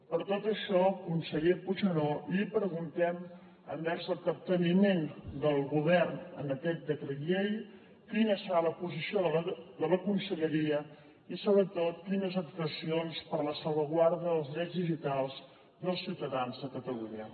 per tot això conseller puigneró li preguntem sobre el capteniment del govern en aquest decret llei quina serà la posició de la conselleria i sobretot quines actuacions per a la salvaguarda dels drets digitals dels ciutadans de catalunya